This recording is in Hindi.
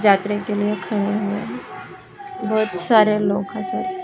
जातरे के लिए खोए हुए है बहुत सारे लोग हसे--